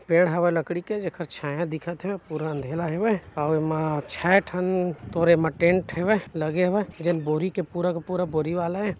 पेड़ हवय लकड़ी के जेखर छाया दिखत हे पूरा अंधेरा अउ ए मा छै ठन तोर ए मा टेंट हेवय लगे हवय जेन बोरी के पूरा के पूरा बोरी वाला ए।